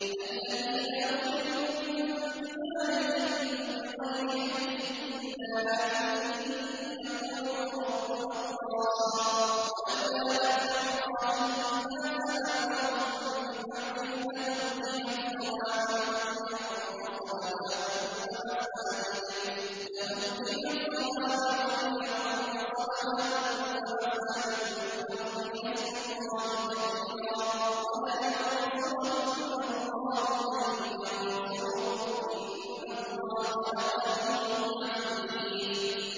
الَّذِينَ أُخْرِجُوا مِن دِيَارِهِم بِغَيْرِ حَقٍّ إِلَّا أَن يَقُولُوا رَبُّنَا اللَّهُ ۗ وَلَوْلَا دَفْعُ اللَّهِ النَّاسَ بَعْضَهُم بِبَعْضٍ لَّهُدِّمَتْ صَوَامِعُ وَبِيَعٌ وَصَلَوَاتٌ وَمَسَاجِدُ يُذْكَرُ فِيهَا اسْمُ اللَّهِ كَثِيرًا ۗ وَلَيَنصُرَنَّ اللَّهُ مَن يَنصُرُهُ ۗ إِنَّ اللَّهَ لَقَوِيٌّ عَزِيزٌ